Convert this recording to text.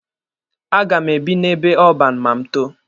A ga m ebi n'ebe ọban ma m too.